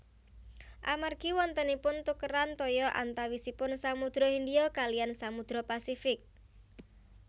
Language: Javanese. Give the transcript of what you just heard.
Amargi wontenipun tukeran toya antawisipun Samudra Hindia kaliyan Samudra Pasifik